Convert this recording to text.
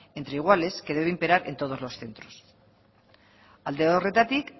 entre iguales que debe imperar en todos los centros alde horretatik